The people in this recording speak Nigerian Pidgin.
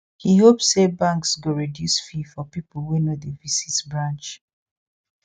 he hope say banks go reduce fee for people wey no dey visit branch